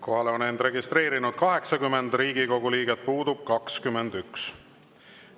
Kohalolijaks on end registreerinud 80 Riigikogu liiget, puudub 21.